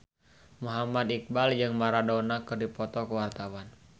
Muhammad Iqbal jeung Maradona keur dipoto ku wartawan